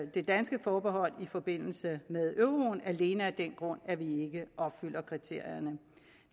det danske forbehold i forbindelse med euroen alene af den grund at vi ikke opfylder kriterierne